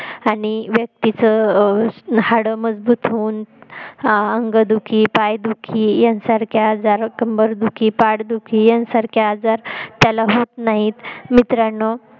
आणि व्यक्तिच हाडे मजबूत होऊन अं आंग दुखी पाय दुखी यांसारखे आजार कंबर दुखी पाठ दुखी यांसारखे आजार त्याला होत नाहीत मित्रांनो